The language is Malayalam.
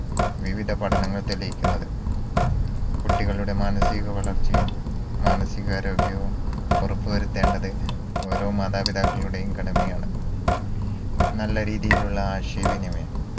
വിവിധ പഠനങ്ങൾ തെളിയിക്കുന്നത് കുട്ടികളുടെ മാനസിക വളർച്ചയും മാനസിക ആരോഗ്യവും ഉറപ്പുവരുത്തേണ്ടത് ഓരോ മാതാപിതാക്കളുടെയും കടമയാണ് നല്ല രീതിയിലുള്ള ആശയ വിനിമയം